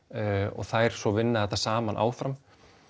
og þær svo vinna þetta saman áfram